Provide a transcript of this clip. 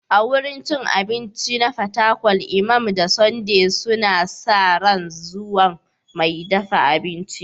A wurin cin abinci na Fatakwal, Imam da Sunday suna sa ran zuwan mai dafa abincin.